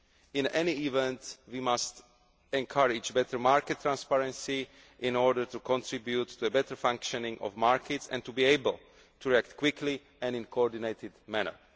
In any event, we must encourage better market transparency in order to contribute to the better functioning of markets and to be able to react quickly and in a coordinated manner.